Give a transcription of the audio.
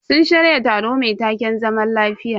Sun shirya taro mai taken "zaman lafiya".